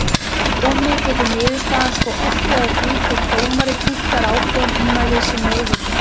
Fyrir dómi getur niðurstaðan svo oltið á því hvort dómari túlkar ákveðin ummæli sem meiðyrði.